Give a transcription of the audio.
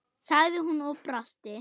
sagði hún og brosti.